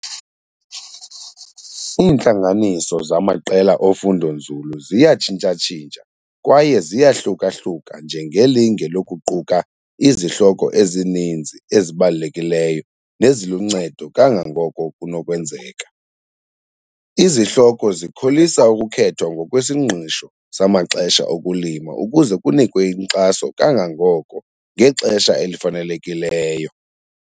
Iintlanganiso zamaqela ofundonzulu ziyatshintsha-tshintsha kwaye ziyahluka-hluka njengelinge lokuquka izihloko ezininzi ezibalulekileyo neziluncedo kangangoko kunokwenzeka. Izihloko zikholisa ukukhethwa ngokwesingqisho samaxesha okulima ukuze kunikwe inkxaso kangangoko ngexesha elifanelekileyo.